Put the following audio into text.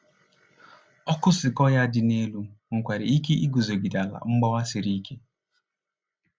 Ọkụ sequoia dị elu nwekwara ike iguzogide ala mgbawa siri ike.